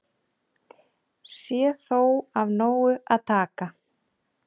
Sé þó af nógu að taka